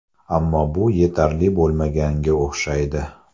Ammo bu yetarli bo‘lmaganga o‘xshaydi.